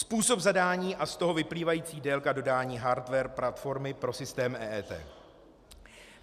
Způsob zadání a z toho vyplývající délka dodání hardware platformy pro systém EET.